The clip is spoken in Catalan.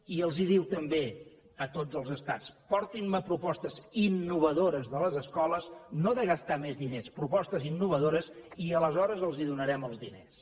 i els diu també a tots els estats portin me propostes innovadores de les escoles no de gastar més diners propostes innovadores i aleshores els donarem els diners